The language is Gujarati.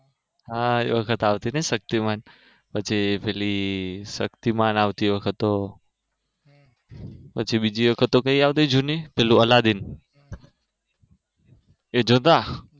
હા e વખતે આવતું તું ને શક્તિમાન પછી પેલી શક્તિમાન આવતી પછી બીજી વખત તો કયું આવતી જૂની પેલી અલાદીન